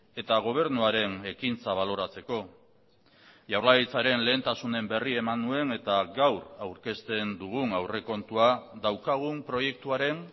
eta gobernuaren ekintza baloratzeko jaurlaritzaren lehentasunen berri eman nuen eta gaur aurkezten dugun aurrekontua daukagun proiektuaren